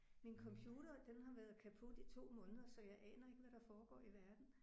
Min computer den har været kaput i 2 måneder så jeg aner ikke hvad der foregår i verden